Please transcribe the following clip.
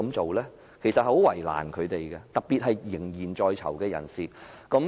這樣其實是很為難他們的，特別是一些仍然在囚的人士。